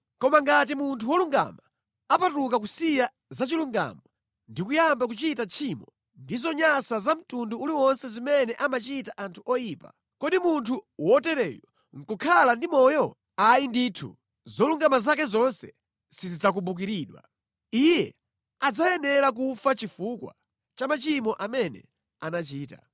“ ‘Koma ngati munthu wolungama apatuka kusiya zachilungamo ndi kuyamba kuchita tchimo ndi zonyansa za mtundu uliwonse zimene amachita anthu oyipa, kodi munthu wotereyu nʼkukhala ndi moyo? Ayi ndithu, zolungama zake zonse sizidzakumbukiridwa. Iye adzayenera kufa chifukwa cha machimo amene anachita.